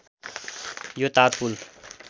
यो तार पुल